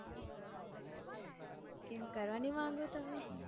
કેમ કરવા નઈ માંગો તમે